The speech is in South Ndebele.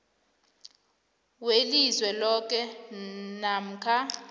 welizwe loke namkha